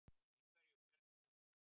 Í hverju felst hún?